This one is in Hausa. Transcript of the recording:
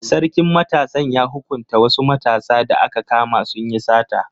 Sarkin matasan ya hukunta wasu matasa da aka kama sun yi sata.